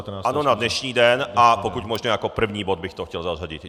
Ano, na dnešní den, a pokud možno jako první bod bych to chtěl zařadit.